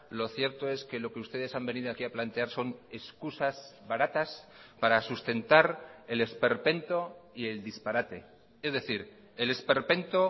lo cierto es que lo que ustedes han venido aquí a plantear son excusas baratas para sustentar el esperpento y el disparate es decir el esperpento